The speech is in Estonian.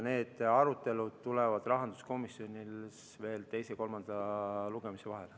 Need arutelud tulevad rahanduskomisjonis veel teise ja kolmanda lugemise vahel.